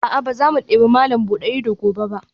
A'a, ba za mu debi malam buɗe ido gobe ba